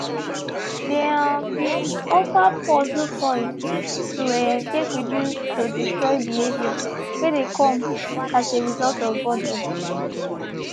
they um been offer puzzle toys to um take reduce to destroy behaviour wey dey come as a result of boredom